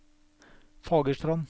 Fagerstrand